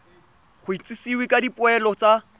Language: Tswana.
go itsisiwe ka dipoelo tsa